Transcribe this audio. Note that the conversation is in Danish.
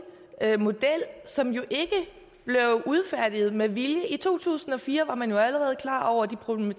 model som jo ikke blev udfærdiget med vilje i to tusind og fire var man jo allerede klar over de problemer